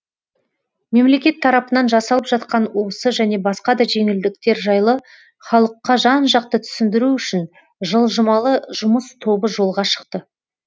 мемлекет тарапынан жасалып жатқан осы және басқа да жеңілдіктер жайлы халыққа жан жақты түсіндіру үшін жылжымалы жұмыс тобы жолға шықты